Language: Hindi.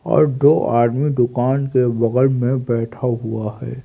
और दो आदमी दुकान के बगल में बैठा हुआ है।